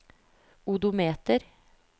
odometer